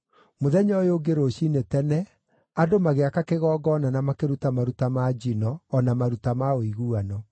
Mũthenya ũyũ ũngĩ rũciinĩ tene andũ magĩaka kĩgongona na makĩruta maruta ma njino o na maruta ma ũiguano.